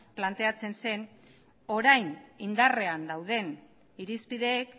planteatzen zen orain indarrean dauden irizpideek